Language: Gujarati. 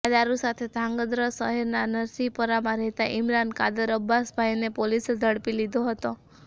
આ દારૂ સાથે ધ્રાંગધ્રા શહેરના નરસીહપરામાં રહેતા ઇમરાન કાદરઅબ્બાસભાઇને પોલીસે ઝડપી લીધો હતો